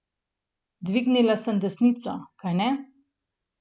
Dvignila sem desnico, kajne?